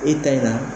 E ta in na